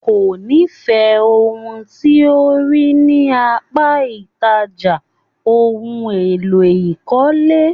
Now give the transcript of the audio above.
Kò n'ifẹ ohun tí o rí ní apá ìtajà ohùn èlò ìkọ́lé.